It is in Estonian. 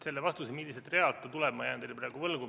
Selle vastuse, milliselt realt see tuleb, jään ma teile praegu võlgu.